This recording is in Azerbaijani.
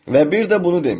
Və bir də bunu demişdir: